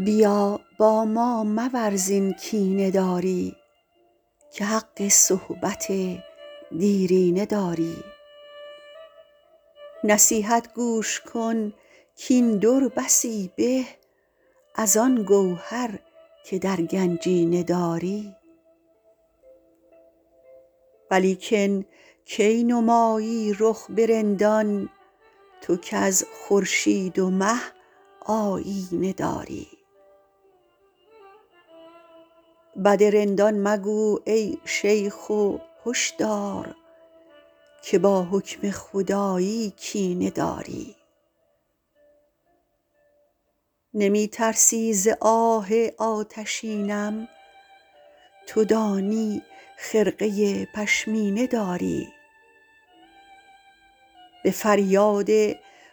بیا با ما مورز این کینه داری که حق صحبت دیرینه داری نصیحت گوش کن کاین در بسی به از آن گوهر که در گنجینه داری ولیکن کی نمایی رخ به رندان تو کز خورشید و مه آیینه داری بد رندان مگو ای شیخ و هش دار که با حکم خدایی کینه داری نمی ترسی ز آه آتشینم تو دانی خرقه پشمینه داری به فریاد